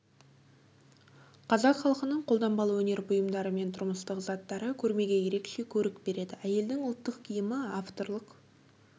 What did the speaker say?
қазақ халқының қолданбалы өнер бұйымдары мен тұрмыстық заттары көрмеге ерекше көрік береді әйелдің ұлттық киімі авторлық